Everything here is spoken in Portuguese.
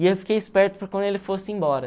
E eu fiquei esperto para quando ele fosse embora.